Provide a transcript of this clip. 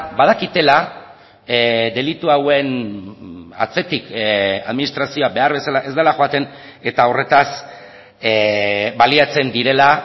badakitela delitu hauen atzetik administrazioa behar bezala ez dela joaten eta horretaz baliatzen direla